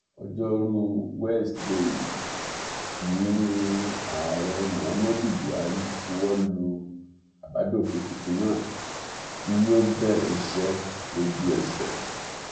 ọjọrùú wẹsìdeè yìí yìí ní ààrẹ muhammadu buhari buwọ́ lu àbádòfin tuntun náà tí yóò bẹ̀rẹ̀ iṣẹ́ lójú ẹsẹ̀